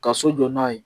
Ka so jɔ n'a ye